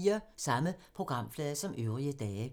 Samme programflade som øvrige dage